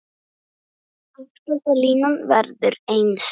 Aftasta línan verður eins.